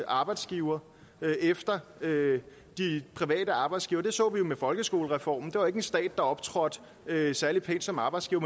arbejdsgiver efter de private arbejdsgivere det så vi jo med folkeskolereformen det var ikke en stat der optrådte særlig pænt som arbejdsgiver